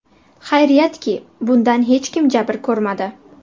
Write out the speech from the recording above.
Xayriyatki, bundan hech kim jabr ko‘rmadi.